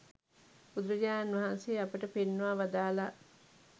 බුදුරජාණන් වහන්සේ අපට පෙන්වා වදාළා.